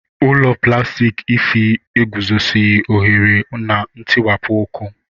Ụlọ plastiki Ify eguzoghị ohere na ntiwapụ ọkụ